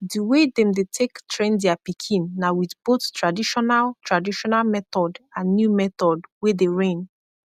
di way dem dey take train dia pikin na wit both tradishonal tradishonal method and new method wey dey reign